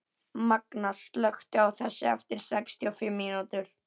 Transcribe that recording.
Manga, slökktu á þessu eftir sextíu og fimm mínútur.